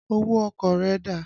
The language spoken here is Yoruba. Owó ọkọ̀ rẹ dà?